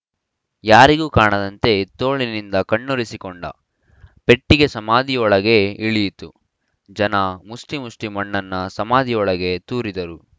ಯಾರಿಗೂ ಕಾಣದಂತೆ ತೋಳಿನಿಂದ ಕಣ್ಣೊರೆಸಿಕೊಂಡ ಪೆಟ್ಟಿಗೆ ಸಮಾಧಿಯೊಳಗೆ ಇಳಿಯಿತು ಜನ ಮುಷ್ಠಿ ಮುಷ್ಠಿ ಮಣ್ಣನ್ನ ಸಮಾಧಿಯೊಳಗೆ ತೂರಿದರು